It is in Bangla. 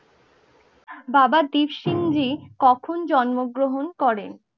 বাবা দিরসিংহি কখন জন্ম গ্রহণ করেন?